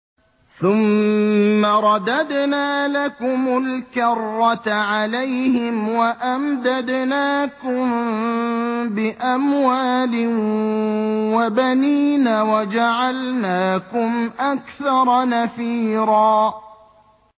ثُمَّ رَدَدْنَا لَكُمُ الْكَرَّةَ عَلَيْهِمْ وَأَمْدَدْنَاكُم بِأَمْوَالٍ وَبَنِينَ وَجَعَلْنَاكُمْ أَكْثَرَ نَفِيرًا